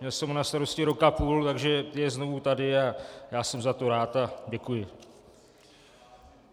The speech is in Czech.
Měl jsem ho na starosti rok a půl, takže je znovu tady a já jsem za to rád a děkuji.